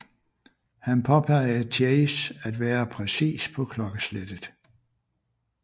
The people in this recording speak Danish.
Han påpegede Chase at være præcis på klokkeslettet